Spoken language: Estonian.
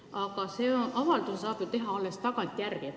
Aga selle avalduse saab ju teha alles tagantjärele.